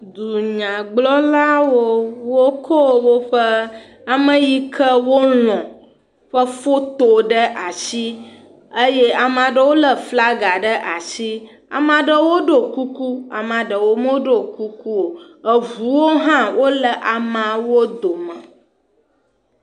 Dunyagblɔlawo wokɔ woƒe ame yi ke wolɔ ƒe foto ɖe asi, eye ame aɖewo lé flaga ɖe asi, ame aɖewo ɖo kuku ame ɖewo medo kuku o, eŋuwo hã le amawo dome.